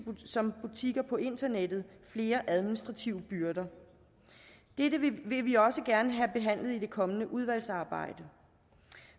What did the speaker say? som butikker på internettet flere administrative byrder dette vil vi også gerne have behandlet i det kommende udvalgsarbejde